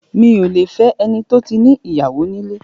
Mi ò lẹ fẹ́ ẹni tó ti ní ìyàwó nílé.